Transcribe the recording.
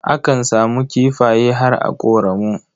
Akan samu kifaye har a ƙoramu.